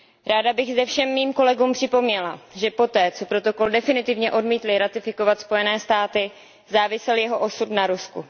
Ráda bych zde všem mým kolegům připomněla, že poté, co protokol definitivně odmítly ratifikovat Spojené státy, závisel jeho osud na Rusku.